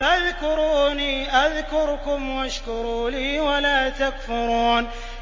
فَاذْكُرُونِي أَذْكُرْكُمْ وَاشْكُرُوا لِي وَلَا تَكْفُرُونِ